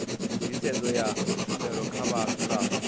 nḓisedzo ya tshumelo kha vhadzulapo